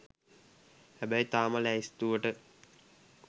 හැබැයි තාම ලැයිස්තුවට